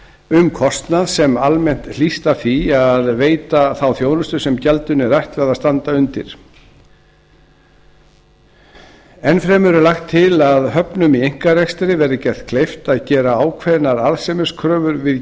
um kostnað sem almennt hlýst af því að veita þá þjónustu sem gjaldinu er ætlað að standa undir enn fremur er lagt til að höfnum í einkarekstri verði gert kleift að gera ákveðnar arðsemiskröfur við